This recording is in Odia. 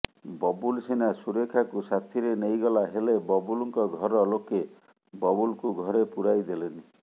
ବବୁଲ ସିନା ସୁରେଖାକୁ ସାଥିରେ ନେଇଗଲା ହେଲେ ବବୁଲଙ୍କ ଘର ଲୋକେ ବବୁଲକୁ ଘରେ ପୂରାଇ ଦେଲେନି